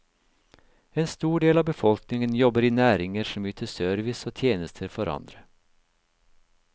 En stor del av befolkningen jobber i næringer som yter service og tjenester for andre.